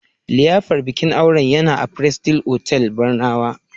liyafar bikin aure yana a prestige otall Barnawa